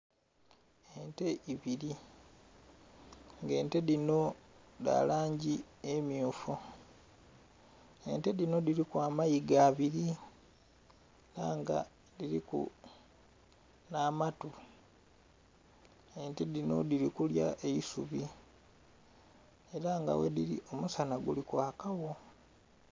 Ente ibili, nga ente dhinho dha langi emmyufu. Ente dhinho dhiliku amayiga abili, ela nga dhiliku nh'amatu. Ente dhinho dhili kulya eisubi ela nga ghedhili omusanha guli kwakagho.